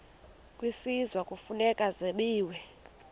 kwisizwe kufuneka zabiwe